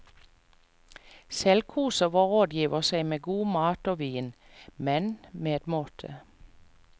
Selv koser vår rådgiver seg med god mat og vin, men med måte.